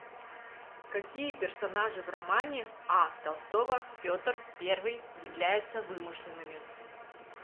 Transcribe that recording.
какие персонажи в романе а толстого петр первый являются вымышленными